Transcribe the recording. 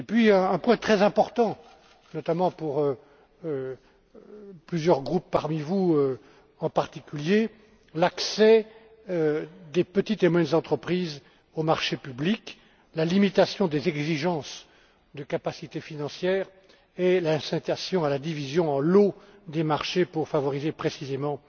Ensuite, un point très important, notamment pour plusieurs groupes parmi vous, en particulier, l'accès des petites et moyennes entreprises aux marchés publics, la limitation des exigences de capacité financière et l'incitation à la division en lots des marchés pour favoriser précisément